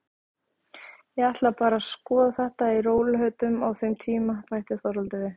Ég ætla bara að skoða þetta í rólegheitum á þeim tíma, bætti Þorvaldur við.